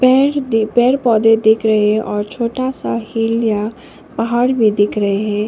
पेर दि पेर पौधे देख रहे और छोटा सा हील या पहाड़ भी दिख रहे है।